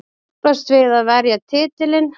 Keppast við að verja titilinn.